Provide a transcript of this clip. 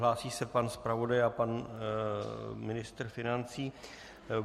Hlásí se pan zpravodaj a pan ministr financí.